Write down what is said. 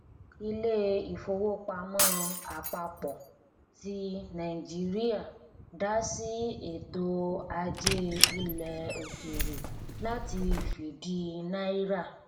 ilé ìfowópamọ àpapọ ti nàìjíríà dá sí ètò ajé ilẹ òkèèrè láti fìdí náírà